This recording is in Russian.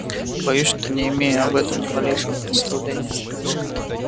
боюсь что не имею об этом ни малейшего представления